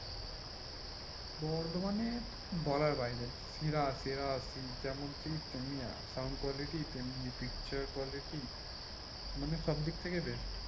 বর্ধমানে বলার বাইরে সেরা সেরা যেমন seat তেমনি আর sound quality তেমনি picture quality মানে সব থেকেই best.